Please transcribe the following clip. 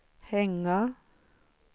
hänga